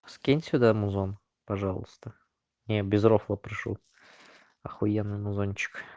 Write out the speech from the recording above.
скинь сюда музон пожалуйста не я без рофла прошу ахуенный музончик